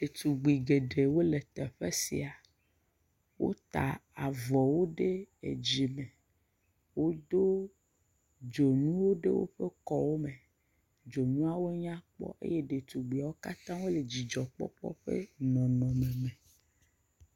Ɖetugbi geɖewo le teƒe sia. Wota avɔ wo ɖe edzi me. Wodo dzonu ɖewo woƒe kɔwo me. Dzonuawo nyakpɔ eye ɖetugbiawo katã hã wole dzidzɔkpɔkpɔ ƒe nɔnɔme me.